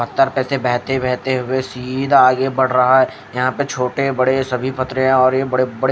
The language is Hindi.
हफ्ता पर तो बहते बहते हुए सीधा आगे बढ़ रहा है यहाँ पर छोटे बड़े सभी पत्रिया आरही है बड़े बड़े--